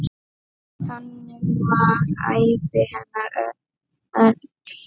Þannig var ævi hennar öll.